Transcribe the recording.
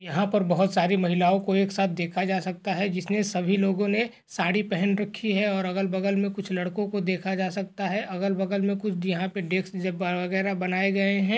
यहां पर बहुत सारी महिलाओं को एक साथ देखा जा सकता है जिसमें सभी लोगो ने साड़ी पहन रखी है और अगल-बगल में कुछ लड़को को देखा जा सकता है। अगल-बगल में कुछ यहाँ पे डेस्क वगैरह बनाये गए है।